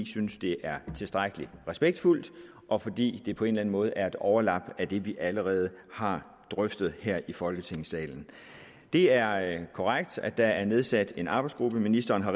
synes det er tilstrækkelig respektfuldt og fordi det på en eller anden måde er et overlap af det vi allerede har drøftet her i folketingssalen det er er korrekt at der er nedsat en arbejdsgruppe ministeren har